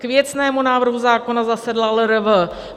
K věcnému návrhu zákona zasedla LRV.